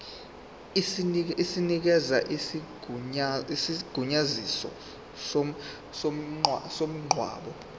esinikeza isigunyaziso somngcwabo